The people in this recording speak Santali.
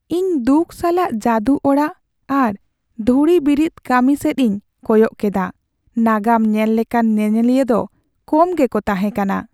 ᱤᱧ ᱫᱩᱠ ᱥᱟᱞᱟᱜ ᱡᱟᱹᱫᱩ ᱚᱲᱟᱜ ᱟᱨ ᱫᱷᱩᱲᱤ ᱵᱤᱨᱤᱫ ᱠᱟᱹᱢᱤ ᱥᱮᱫ ᱤᱧ ᱠᱚᱭᱚᱜ ᱠᱮᱫᱟ ᱾ ᱱᱟᱜᱟᱢ ᱧᱮᱞ ᱞᱮᱠᱟᱱ ᱧᱮᱧᱮᱞᱤᱭᱟᱹ ᱫᱚ ᱠᱚᱢ ᱜᱮᱠᱚ ᱛᱟᱦᱮᱸ ᱠᱟᱱᱟ ᱾